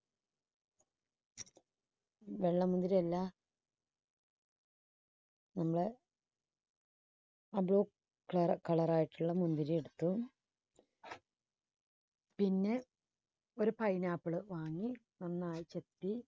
വെള്ള മുന്തിരി അല്ല കറ~ colour ായിട്ടുള്ള മുന്തിരിയെടുത്ത് പിന്നെ ഒരു pineapple വാങ്ങി നന്നായി ചെത്തി